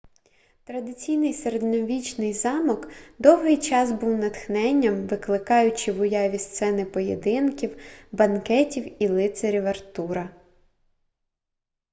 традиційний середньовічний замок довгий час був натхненням викликаючи в уяві сцени поєдинків банкетів і лицарів артура